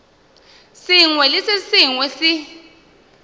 sengwe le se sengwe se